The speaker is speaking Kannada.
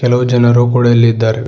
ಹಲವು ಜನರು ಕೂಡ ಇಲ್ಲಿ ಇದ್ದಾರೆ.